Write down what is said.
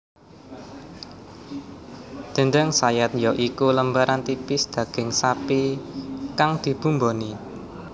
Déndéng sayat ya iku lembaran tipis daging sapi kang dibumboni